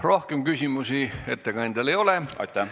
Rohkem küsimusi ettekandjale ei ole.